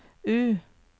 U